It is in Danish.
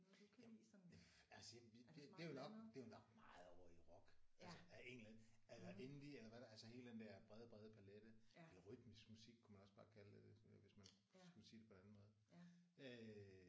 Jamen altså det er jo nok det er jo nok meget ovre i rock altså af en eller anden altså indie eller hvad der er altså hele den der brede brede palet eller rytmisk musik kunne man også bare kalde det hvis man skulle sige det på en anden måde øh